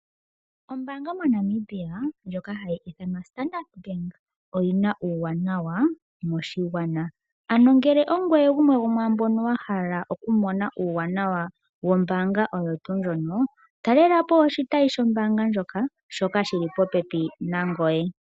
Ombaanga moNamibia ndjoka ndjoka hayi ithanwa Standard bank oyi na uuwanawa moshigwana. Ngele ongoye gumwe gwo mwaamboka wa hala okumona uuwanawa wombaanga oyo tuu ndjono, talela po oshitayi shombaanga ndjoka, shoka shi li popepi nangoye.